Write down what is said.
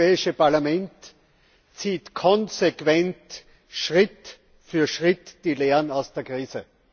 Das Europäische Parlament zieht konsequent Schritt für Schritt die Lehren aus der Krise.